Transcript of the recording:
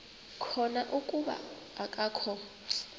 khona kuba akakho